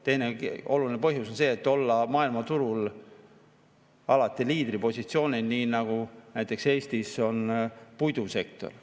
Teine oluline põhjus on see, et olla maailmaturul alati liidripositsioonil, nii nagu näiteks Eestis on puidusektor.